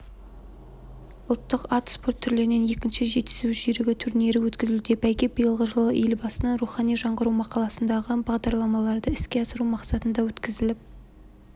ұлттық ат спорты түрлерінен екінші жетісу жүйрігі турнирі өткізілуде бәйге биылғы жылы елбасының рухани жаңғыру мақаласындағы бағдарламаларды іске асыру мақсатында өткізіліп